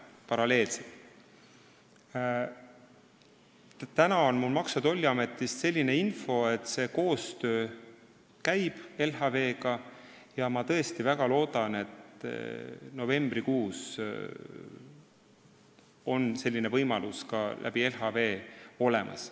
Mul on Maksu- ja Tolliametist selline info, et koostöö LHV-ga käib, ja ma väga loodan, et novembrikuust on selline võimalus tänu LHV-le ka olemas.